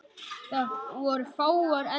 Það voru fáar endur.